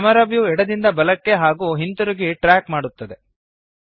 camera view ಎಡದಿಂದ ಬಲಕ್ಕೆ ಹಾಗೂ ಹಿಂತಿರುಗಿ ಟ್ರ್ಯಾಕ್ ಮಾಡುತ್ತದೆ